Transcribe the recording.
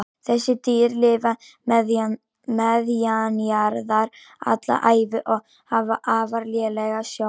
Þessi dýr lifa neðanjarðar alla ævi og hafa afar lélega sjón.